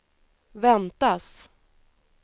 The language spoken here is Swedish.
väntas